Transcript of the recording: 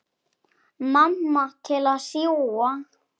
Mamma til að sjúga.